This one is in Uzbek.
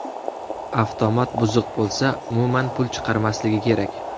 Avtomat buzuq bo‘lsa, umuman pul chiqarmasligi kerak.